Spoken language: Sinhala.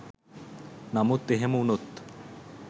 නමුත් එහෙම උනොත්